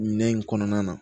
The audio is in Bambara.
Minɛn in kɔnɔna na